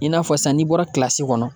I n'a fɔ sisan n'i bɔra kɔnɔ